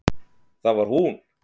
Það var hún!